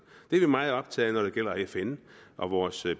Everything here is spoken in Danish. det er vi meget optaget af når det gælder fn og vores